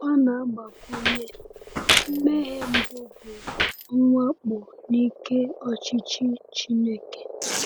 Ọ na-agbakwunye: “Mmehie mbụ bụ mwakpo n’ike ọchịchị Chineke.”